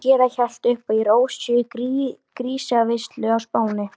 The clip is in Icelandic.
Sangría hellt upp í Rósu í grísaveislu á Spáni.